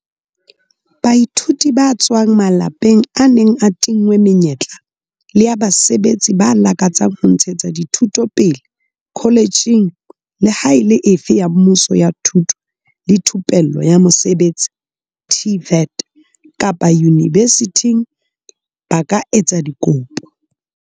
Baithuti ba tswang malapeng a neng a tinngwe menyetla le a basebetsi ba lakatsang ho ntshetsa dithuto pele koletjheng leha e le efe ya mmuso ya thuto le thupello ya mosebetsi TVET kapa yunivesithing ba ka etsa dikopo.